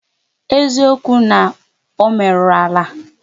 Eziokwu na ọ meru alụ?